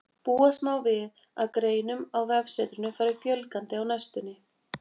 Búast má við að greinum á vefsetrinu fari fjölgandi á næstunni.